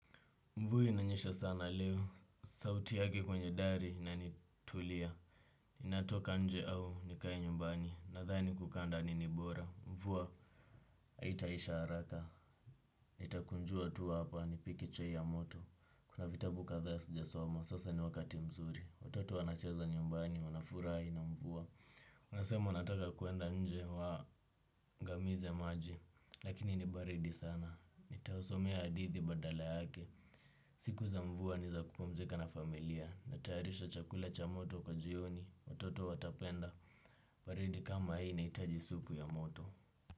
Mvua inanyesha sana leo, sauti yake kwenye dari inanitulia. Natoka nje au nikae nyumbani? Nadhani kukaa ndani ni bora, mvua haitaisha haraka, nitakunjua tu hapa nipike chai ya moto. Kuna vitabu kadhaa sijasoma, sasa ni wakati mzuri, watoto wanacheza nyumbani, wanafurahi na mvua. Unasema unataka kwenda nje uangamize maji, lakini ni baridi sana. Nitausomea hadithi badala yake. Siku za mvua ni za kupumzika na familia. Natayarisha chakula cha moto kwa jioni, watoto watapenda. Baridi kama hii inahitaji supu ya moto.